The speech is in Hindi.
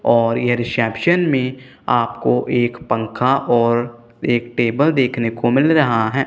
और यह रिसेप्शन में आप को एक पंखा और एक टेबल देखने को मिल रहा है।